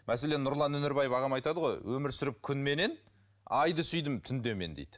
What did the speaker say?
мәселен нұрлан өнербаев ағам айтады ғой өмір сүріп күнменен айды сүйдім түнде мен дейді